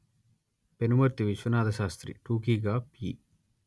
పెనుమర్తి విశ్వనాథశాస్త్రి టూకీగా పి